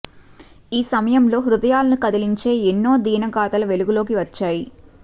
ఈ సమయంలో హృదయాలను కదిలించే ఎన్నో దీన గాథలు వెలుగులోకి వచ్చాయి